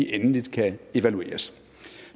endeligt kan evalueres